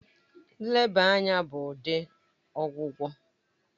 Nleba anya bụ ụdị ọgwụgwọ